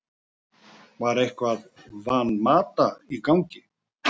Var eitthvað Van Mata í gangi?